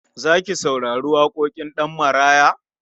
Za ki saurari waƙoƙin Ɗanmaraya?